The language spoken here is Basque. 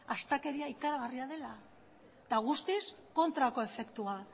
astakeria ikaragarria dela eta guztiz kontrako efektua